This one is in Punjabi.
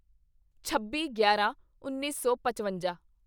ਛੱਬੀਗਿਆਰਾਂਉੱਨੀ ਸੌ ਪਚਵੰਜਾ